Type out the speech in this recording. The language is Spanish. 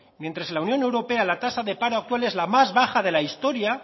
mientras en la unión europea la tasa de paro actual es la más baja de la historia